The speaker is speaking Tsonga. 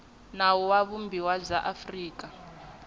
nawu wa vumbiwa bya afrika